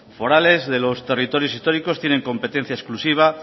forales de los territorios históricos tienen competencia exclusiva